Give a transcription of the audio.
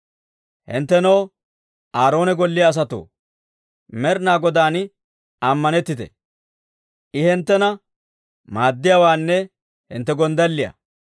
Hinttenoo, Aaroona golliyaa asatoo, Med'inaa Godaan ammanettite! I hinttena maaddiyaawaanne hintte gonddalliyaa.